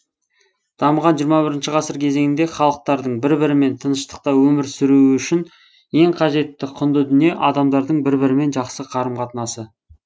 дамыған жиырма бірінші ғасыр кезеңінде халықтардың бір бірімен тыныштықта өмір сүруі үшін ең қажетті құнды дүние адамдардың бір бірімен жақсы қарым қатынасы